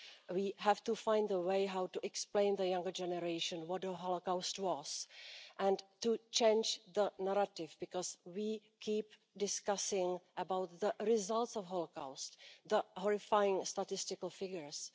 soon. We have to find a way how to explain to the younger generation what the Holocaust was, and to change the narrative, because we keep discussing about the results of the Holocaust, the horrifying statistical figures.